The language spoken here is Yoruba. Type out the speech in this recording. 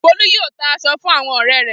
Folú yóò ta aṣọ fún àwọn ọ̀rẹ́ rẹ̀.